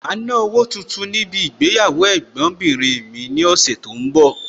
Màá ná owó tuntun níbi ìgbéyàwó Ẹ̀gbọ́n bìnrin mi ní ọ̀sẹ̀ tó ń bọ̀.